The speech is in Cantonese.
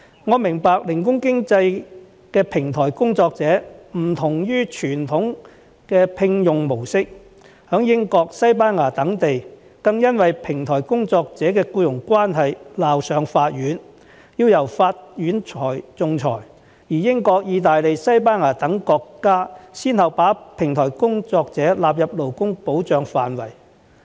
我明白零工經濟的平台工作者的聘用模式異於傳統模式，在英國、西班牙等地，更因為平台工作者的僱傭關係鬧上法院，要由法院仲裁；而英國、意大利、西班牙等國家亦先後把平台工作者納入勞工保障範圍。